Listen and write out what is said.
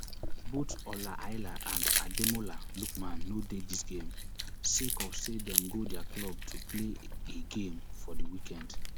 both ola aina and ademola lookman no dey dis game sake of say dem go dia club to play a game for di weekend